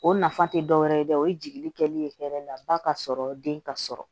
O nafa tɛ dɔ wɛrɛ ye dɛ o ye jigili kɛlen ye ba ka sɔrɔ den ka sɔrɔ